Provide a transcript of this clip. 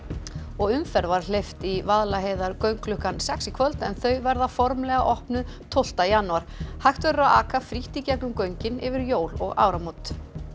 umferð var hleypt í Vaðlaheiðargöng klukkan sex í kvöld en þau verða formlega opnuð tólfta janúar hægt verður að aka frítt í gegnum göngin yfir jól og áramót